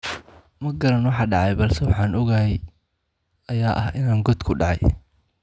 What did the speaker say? Ma garan waxa dhacay balse waxa aan ogahay ayaa ah in aan god ku dhacay.